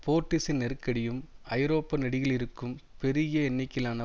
போர்ட்டிஸின் நெருக்கடியும் ஐரோப்பா நெடுகிலும் இருக்கும் பெருகிய எண்ணிக்கையிலான